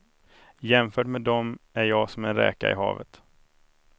Jämfört med dem är jag som en räka i havet.